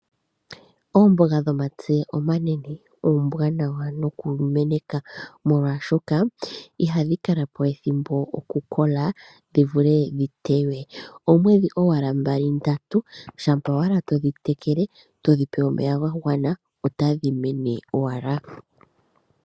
Oombaga dhomatse omanene oombanawa noku meneka molwashoka ihadhi kala po ethimbo oku kola dhi vule dhi yeywe Oomwedhi owala mbali ndatu to dhi tekele to dhi pe omeya ga gwana otahi mene owala.